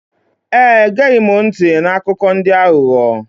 Ee, egeghị m ntị n'akụkọ ndị aghụghọ.